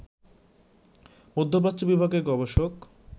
মধ্যপ্রাচ্য বিভাগের গবেষক